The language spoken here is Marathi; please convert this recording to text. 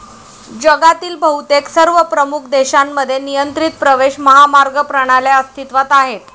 जगातील बहुतेक सर्व प्रमुख देशांमध्ये नियंत्रित प्रवेश महामार्ग प्रणाल्या अस्तित्वात आहेत.